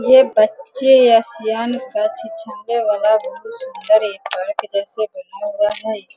ये बच्चे वाला बहुत सुन्दर है पार्क जैसे बना हुआ है।